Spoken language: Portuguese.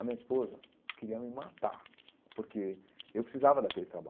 A minha esposa queria me matar, porque eu precisava daquele trabalho.